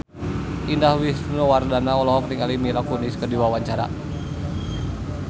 Indah Wisnuwardana olohok ningali Mila Kunis keur diwawancara